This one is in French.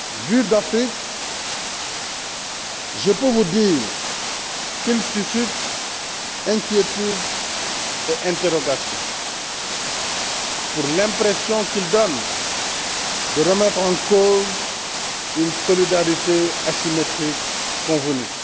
Vu d'Afrique, je peux vous dire qu'il suscite inquiétudes et interrogations pour l'impression qu'il donne de remettre en cause une solidarité asymétrique convenue.